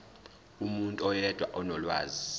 umuntu oyedwa onolwazi